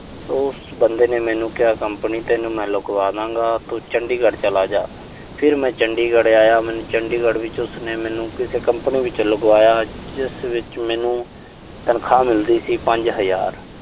ਉਸ ਬੰਦੇ ਨੇ ਮੈਨੂੰ ਕਿਹਾ ਕੰਪਨੀ ਤੈਨੂੰ ਮੈਂ ਲਗਵਾ ਦਾਂ ਗਾ। ਤੂੰ ਚੰਡੀਗੜ੍ਹ ਚਲਾ ਜਾ। ਫਿਰ ਮੈਂ ਚੰਡੀਗੜ੍ਹ ਆਇਆ। ਚੰਡੀਗੜ੍ਹ ਵਿੱਚ ਉਸਨੇ ਮੈਨੂੰ ਕਿਸੇ ਕੰਪਨੀ ਵਿੱਚ ਲਗਵਾਇਆ, ਜਿਸ ਵਿੱਚ ਮੈਨੂੰ ਤਨਖਾਹ ਮਿਲਦੀ ਸੀ ਪੰਜ ਹਜ਼ਾਰ